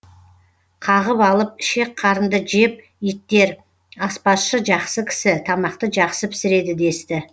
қағып алып ішек қарынды жеп иттер аспазшы жақсы кісі тамақты жақсы пісіреді десті